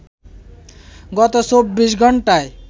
গত চব্বিশ ঘণ্টায়